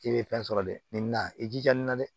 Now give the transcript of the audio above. I bɛ fɛn sɔrɔ dɛ ni na i jija nin na dɛ